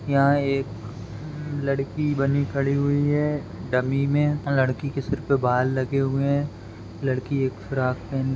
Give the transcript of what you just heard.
यह एक लड़की बनी खड़ी हुई है डमी में लड़की के सिर पे बाल लगे हुए हैं लड़की एक फ्रॉक --